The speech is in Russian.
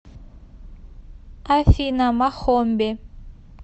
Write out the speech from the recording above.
афина махомби